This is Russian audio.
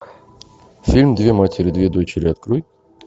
фильм две матери две дочери открой